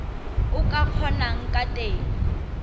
o ka kgonang ka teng